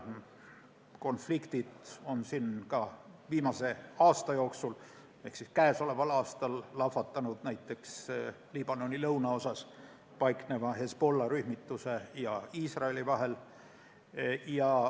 Konfliktid on lahvatanud ka viimase aasta jooksul, näiteks Liibanoni lõunaosas paikneva Hezbollah' rühmituse ja Iisraeli vahel.